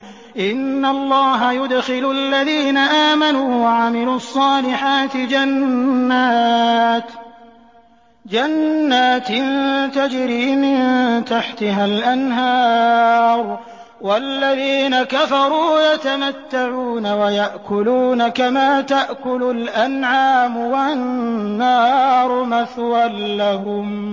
إِنَّ اللَّهَ يُدْخِلُ الَّذِينَ آمَنُوا وَعَمِلُوا الصَّالِحَاتِ جَنَّاتٍ تَجْرِي مِن تَحْتِهَا الْأَنْهَارُ ۖ وَالَّذِينَ كَفَرُوا يَتَمَتَّعُونَ وَيَأْكُلُونَ كَمَا تَأْكُلُ الْأَنْعَامُ وَالنَّارُ مَثْوًى لَّهُمْ